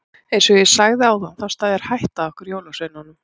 Eins og ég sagði áðan þá steðjar hætta að okkur jólasveinunum.